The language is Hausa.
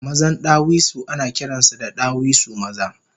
Mazan ɗawisu anakiransu da ɗawisu maza